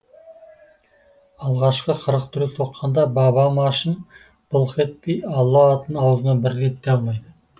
алғашқы қырық дүре соққанда баба машын былқ етпей алла атын аузына бір рет те алмайды